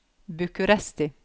Bucuresti